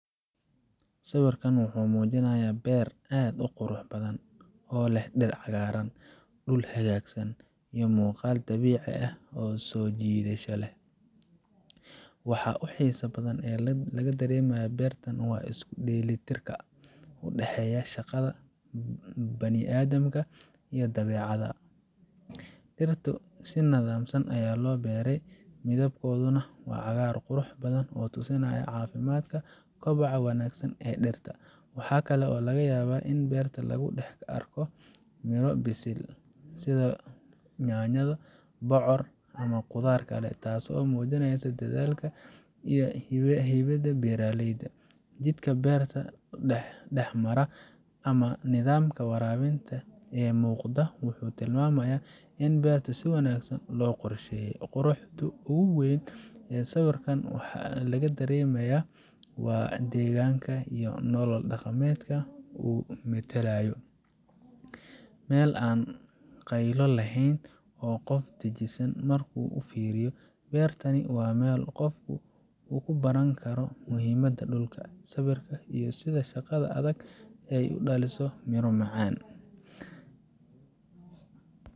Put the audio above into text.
Sawirkan wuxuu muujinayaa beer aad u qurux badan, oo leh dhir cagaaran, dhul hagaagsan, iyo muuqaal dabiici ah oo soo jiidasho leh. Waxa ugu xiisaha badan ee laga dareemayo beertan waa isku dheelitirka u dhexeeya shaqada bini’aadamka iyo dabeecadda. Dhirta si nidaamsan ayaa loo beeray, midabkooduna waa cagaar qurux badan oo tusinaya caafimaadka iyo koboca wanaagsan ee dhirta. Waxaa kale oo laga yaabaa in beertan lagu dhex arko midho bisil, sida yaanyo, bocor, ama qudaar kale, taasoo muujinaysa dadaalka iyo hibada beeraleyda. Jidka beerta dhex mara ama nidaamka waraabinta ee muuqda wuxuu tilmaamayaa in beertan si wanaagsan loo qorsheeyay. Quruxda ugu weyn ee sawirkan laga dareemayo waa degganaanta iyo nolol dhaqameedka uu metelayo meel aan qaylo lahayn, oo qofka dejisan markuu uu fiiriyo. Beertani waa meel uu qofku ku baran karo muhiimadda dhulka, sabirka, iyo sida shaqada adag ay u dhaliso miro macaan.